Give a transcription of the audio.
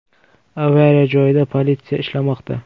Avariya joyida politsiya ishlamoqda.